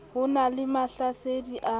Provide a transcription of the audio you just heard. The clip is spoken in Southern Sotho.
ho na le mahlasedi a